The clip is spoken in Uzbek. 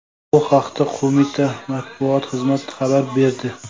Bu haqda qo‘mita matbuot xizmat xabar berdi .